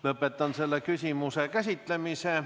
Lõpetan selle küsimuse käsitlemise.